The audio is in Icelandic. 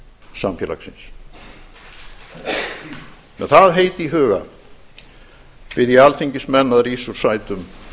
samfélagsins með það heit í huga bið ég alþingismenn að rísa úr sætum